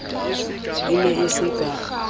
e ne e se ka